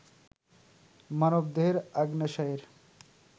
মানবদেহের অগ্ন্যাশয়ের